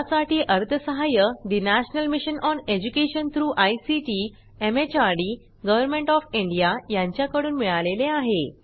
यासाठी अर्थसहाय्य national mission on education through ICT MHRD government OF India यांच्याकडून मिळालेले आहे